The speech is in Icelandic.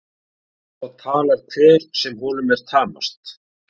Svo talar hver sem honum er tamast.